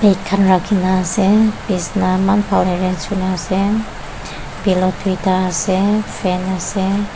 Khan rakhe kena ase besna eman bhal arranged kure kena ase pillow tui ta ase fan ase.